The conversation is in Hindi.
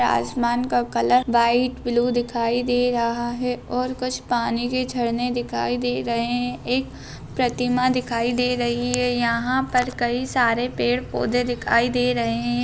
आसमान का कलर व्हाइट ब्लू दिखाई दे रहा है और कुछ पानी के झरने दिखाई दे रहे है एक प्रतिमा दिखाई दे रही है यहाँ पर कई सारे पेड़-पौधे दिखाई दे रहे है।